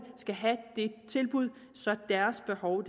skal have det tilbud så deres behov